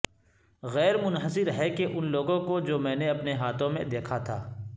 غیر منحصر ہے کہ ان لوگوں کو جو میں نے اپنے ہاتھوں میں دیکھا تھا